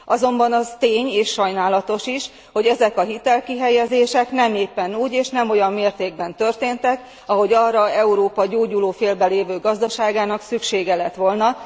Azonban az tény, és sajnálatos tény, hogy ezek a hitelkihelyezések nem éppen úgy és nem olyan mértékben történtek, ahogy arra Európa gyógyulófélben lévő gazdaságának szüksége lett volna.